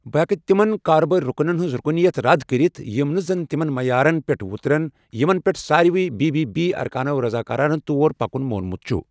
یہِ ہیكہِ تِمن كاربٲرِ رٗكنن ہنز رٗكنِیت رد كرِتھ یم نہٕ زن تِمن معیارن پٮ۪ٹھ وترن یِمن پٮ۪ٹھ سارِوٕے بی بی بی اركانو رضاكارانہٕ طور پكن مونمت چھُ ۔